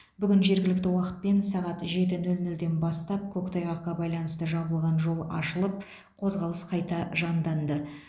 бүгін жергілікті уақытпен сағат жеті нөл нөлден бастап көктайғаққа байланысты жабылған жол ашылып қозғалыс қайта жанданды